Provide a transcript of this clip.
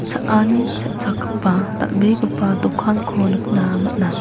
cha·ani cha·chakgipa dal·begipa dokanko nikna man·a.